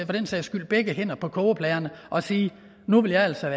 den sags skyld begge hænder på kogepladen og sige nu vil jeg altså